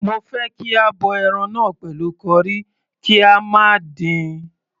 Mo fẹ́ kí a bọ ẹran náà pẹ̀lú curry, kí a má dín-in..